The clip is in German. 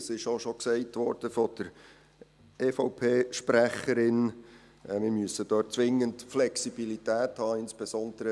Von der EVP-Sprecherin wurde auch schon gesagt, wir müssten dort zwingend Flexibilität haben.